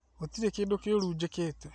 Gũtirĩ kĩndũkĩũru njĩkĩte